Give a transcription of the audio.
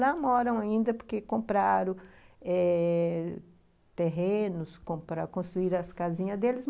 Lá moram ainda porque compraram eh... terrenos, compraconstruíram as casinhas deles.